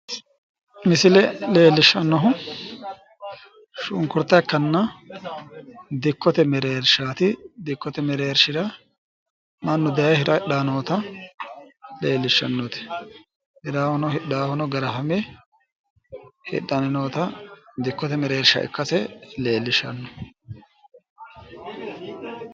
Misile leellishshannohu shunkurta ikkanna dikkote mereershaati. Dikkote mereershira hira hidhayi noota, hiraanlhuno hidhaahuno hiranni noota dikkote mereershsha ikkase leellishshanno misileeti.